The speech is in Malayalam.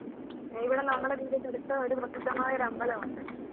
ഇവിടെ നമ്മുടെ വീടിൻ്റെ അടുത്ത് പ്രസിദ്ധമായൊരു അമ്പലമുണ്ട്